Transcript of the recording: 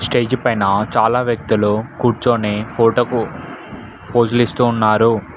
Stage పైన చాలా వ్యక్తులు కూర్చోని ఫోటోకు ఫోజులు ఇస్తూ ఉన్నారు.